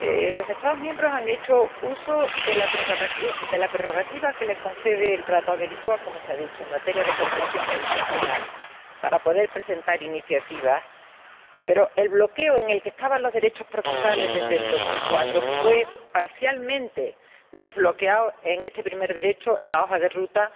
Los Estados miembros han hecho uso de la prerrogativa que les concede el Tratado de Lisboa como se ha dicho en materia de cooperación judicial penal para poder presentar iniciativas, pero el bloqueo en el que estaban los derechos procesales desde 2004 fue parcialmente resuelto en este primer derecho en la hoja de ruta